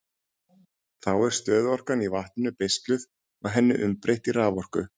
Þá er stöðuorkan í vatninu beisluð og henni umbreytt í raforku.